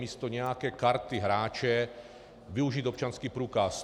Místo nějaké karty hráče využít občanský průkaz.